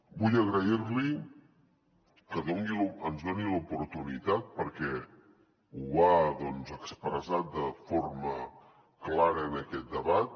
vull agrair li que ens doni l’oportunitat perquè ho ha expressat de forma clara en aquest debat